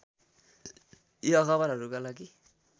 यी अखबारहरूका लागि